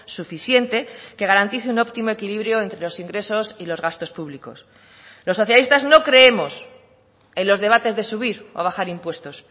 suficiente que garantice un óptimo equilibrio entre los ingresos y los gastos públicos los socialistas no creemos en los debates de subir o bajar impuestos